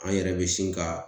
An yɛrɛ be sin ka